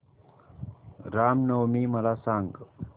राम नवमी मला सांग